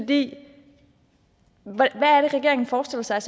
det regeringen forestiller sig